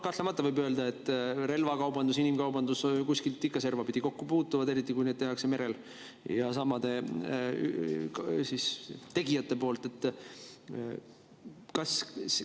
Kahtlemata võib öelda, et relvakaubandus ja inimkaubandus kuskil ikka servapidi kokku puutuvad, eriti kui need merel ja tegijad on samad.